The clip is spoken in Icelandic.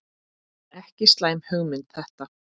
Ekki slæm hugmynd þetta.